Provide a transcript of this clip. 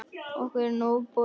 Okkur er nóg boðið